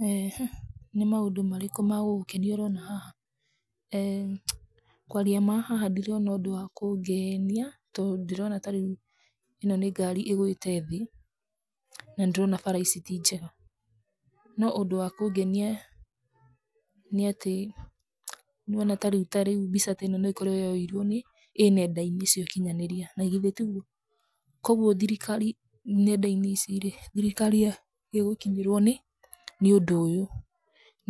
[eehh] Nĩ maũndũ marĩkũ magũgũkenia ũroona haha? eeh kwaria ma, haha ndirona ũndũ wa kũngenia, tondũ ndĩrona ta rĩu, ĩno nĩ ngari ĩgwĩte thĩ, nanĩndĩrona bara ici ti njega, no ũndũ wa kũngenia, nĩatĩ, nĩwona tarĩu tarĩu mbica teno nokorwo yoirwo ĩ nenda-inĩ cia ũkinyanĩria, nagithe tiguo? koguo thirikari nenda-inĩ ici rĩ, thirikari ya, ĩgũkinyĩrwo nĩ, nĩ ũndũ ũyũ,